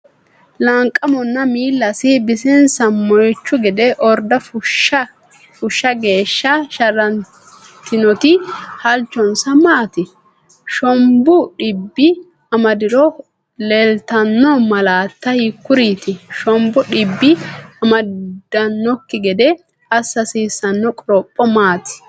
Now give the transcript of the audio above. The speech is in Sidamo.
Laanqamonna miillasi bisinsa moychu gede orda fushsha geeshsha sharrantinoti halchonsa maati? Shombu dhibbi amadiro leellitanno malaatta hiikkuriiti? Shombu dhibbi amadannokki gede assa hasiissanno qoropho maati?